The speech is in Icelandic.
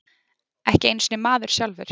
Ekki einu sinni maður sjálfur.